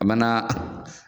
An bɛ n'a